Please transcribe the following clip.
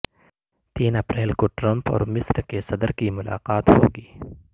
تین اپریل کو ٹرمپ اور مصر کے صدر کی ملاقات ہوگی